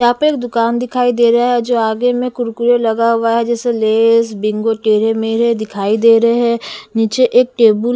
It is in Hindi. यहां पे एक दुकान दिखाई दे रहा है जो आगे में कुरकुरे लगा हुआ है जैसे लेज बिंगो टेढ़े मेढे दिखाई दे रहे हैं नीचे एक टेबुल --